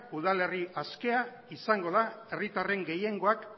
udalerri askea izango da herritarren gehiengoak